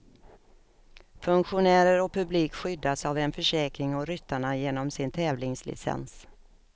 Funktionärer och publik skyddas av en försäkring och ryttarna genom sin tävlingslicens.